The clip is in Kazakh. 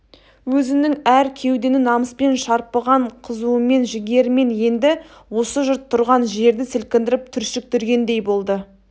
өзінің әр кеудені намыспен шарпыған қызуымен жігерімен енді осы жұрт тұрған жерді сілкіндіріп түршіктіргендей болды